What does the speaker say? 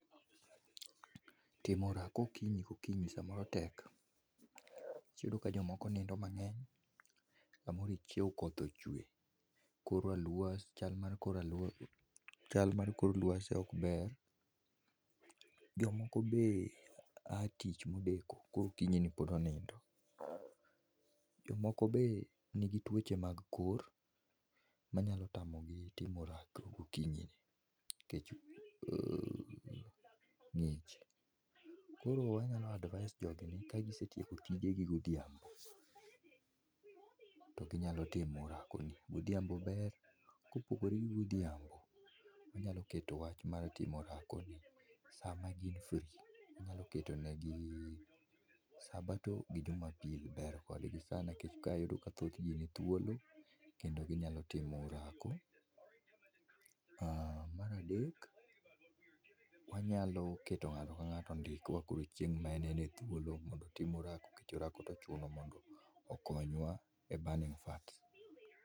Timo orako okinyi kokinyo samoro tek iyudo ka jomoko nindo mang'eny samoro ichiewo koth ochwe koro aluo chal mar kor lwasi ok ber .Jomoko be a tich modeko koro okinyi ni pod onindo .Jomoko be nigi tuoche mag kor manyalo tamogi timo orako gokinyi ni nikech ng'ich. Koro anyalo advise jogi ni ka gisetieko tijegi godhiambo to ginyalo timo orako ni godhiambo ber kopogore gi godhiambo ginyalo keto wach mar timo orako ni sama gin free inyalo keto negi sabato gi jumapil ber kodgi sana nikech ka iyudo ka thothji ni thuolo kendo ginyalo timo orako. Mar adek wanyalo keto ng'ato ka ng'ato ondik wa chieng ma en e thuolo nikech orako tochuno mondo konywa e burning fats.